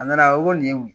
A nana ko nin ye wo